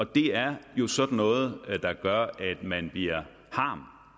det er jo sådan noget der gør at man bliver harm